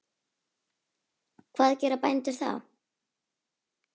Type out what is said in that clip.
Hvað gera bændur þá?